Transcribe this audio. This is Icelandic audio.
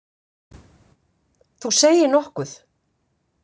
Þú segir nokkuð.